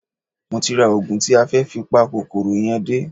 Mo ti ra oògùn tí a fẹ́ fi pa kòkòrò yẹn dé